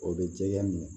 O bɛ jɛgɛn